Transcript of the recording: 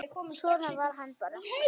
Svona var hann bara.